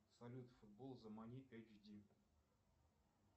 салют футбол замани ейч ди